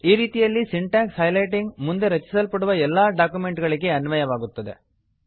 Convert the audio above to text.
ಈ ರೀತಿಯಲ್ಲಿ syntax highlighting ಮುಂದೆ ರಚಿಸಲ್ಪಡುವ ಎಲ್ಲಾ ಡಾಕ್ಯುಮೆಂಟ್ ಗಳಿಗೆ ಅನ್ವಯವಾಗುತ್ತದೆ